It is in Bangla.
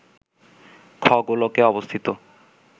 খ-গোলকে অবস্থিত